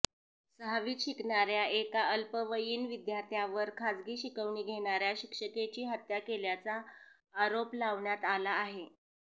सहावीत शिकणाऱ्या एका अल्पवयीन विद्यार्थ्यावर खासगी शिकवणी घेणाऱ्या शिक्षिकेची हत्या केल्याचा आरोप लावण्यात आला आहे